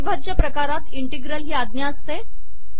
अविभाज्य प्रकारात इंटिग्रल ही आज्ञा असते